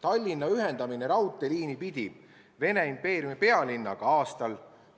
Tallinna ühendamine raudteeliini pidi Vene impeeriumi pealinnaga aastal